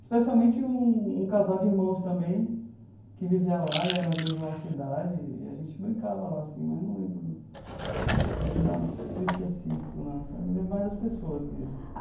especialmente um casal de irmãos também, que vivia lá e era mais ou menos da nossa idade, e a gente brincava lá assim, mas não lembro não de nada tão específico não sabe, lembro mais das pessoas mesmo.